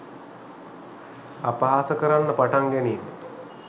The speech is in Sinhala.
අපහාස කරන්න පටන් ගැනීම.